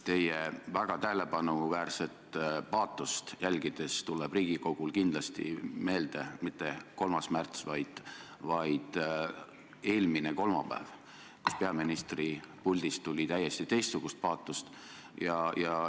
Teie väga tähelepanuväärset paatost jälgides tuleb Riigikogul kindlasti meelde mitte 3. märts, vaid eelmine kolmapäev, kui peaministri suust tuli puldist täiesti teistsugust paatost.